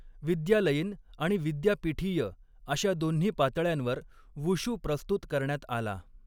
विद्यालयीन आणि विद्यापीठीय अशा दोन्ही पातळ्यांवर वुशू प्रस्तुत करण्यात आला.